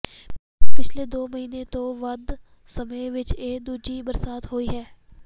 ਪਿਛਲੇ ਦੋ ਮਹੀਨੇ ਤੋਂ ਵੱਧ ਸਮੇਂ ਵਿਚ ਇਹ ਦੂਜੀ ਬਰਸਾਤ ਹੋਈ ਹੈ